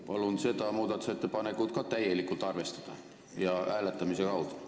Palun ka seda muudatusettepanekut täielikult arvestada ja teha seda hääletamise kaudu!